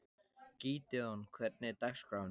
Gídeon, hvernig er dagskráin?